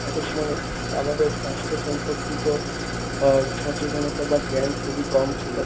একটা সময় আমাদের স্বাস্থ্য সম্পর্কিত আ সচেতনতা বা জ্ঞান খুবই কম ছিল।